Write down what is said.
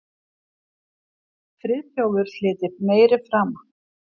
Friðþjófur hlyti meiri frama.